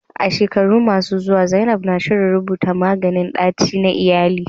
A shekaru masu zuwa, zainab na shirin rubuta maganin ganyen ɗaci na iyali.